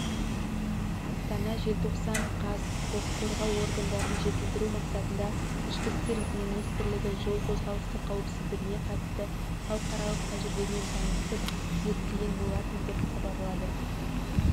астана желтоқсан қаз құқық қорғау органдарын жетілдіру мақсатында ішкі істер министрлігі жол қозғалысы қауіпсіздігіне қатысты халықаралық тәжірибемен танысып зерттеген болатын деп хабарлады